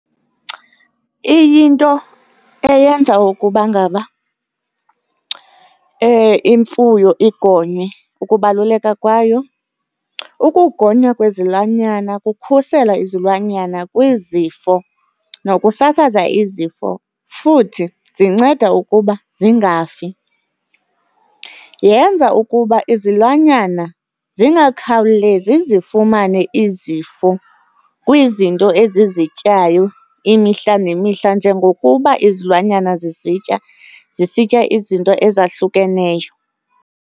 Iyinto eyenza ukubangaba imfuyo igonywe ukubaluleka kwayo, ukugonywa kwezilwanyana kukhusela izilwanyana kwizifo nokusasaza izifo, futhi zinceda ukuba zingafi. Yenza ukuba izilwanyana zingakhawulezi zifumane izifo kwizinto ezizityayo imihla nemihla njengokuba izilwanyana zizitya, zisitya izinto ezahlukeneyo.